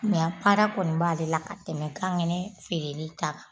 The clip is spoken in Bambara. para kɔni b'ale la ka tɛmɛ kangɛnɛ feereli ta kan